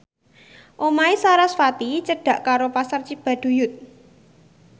omahe sarasvati cedhak karo Pasar Cibaduyut